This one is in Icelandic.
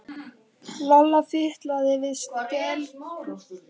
Kristján Kristjánsson: Er mikið hagsmunamál að afnema verðtryggingu lána?